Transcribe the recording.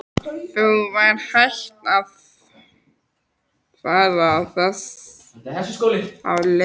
Þó var hætt á að fara þess á leit.